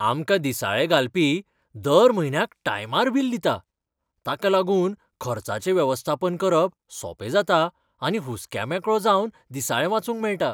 आमकां दिसाळें घालपी दर म्हयन्याक टायमार बील दिता. ताका लागून खर्चाचें वेवस्थापन करप सोंपें जाता आनी हुस्क्यामेकळो जावन दिसाळें वाचूंक मेळटा.